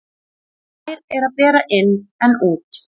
Nær er að bera inn en út.